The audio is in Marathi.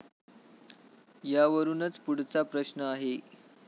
यावरुनच पुढचा प्रश्न आहे.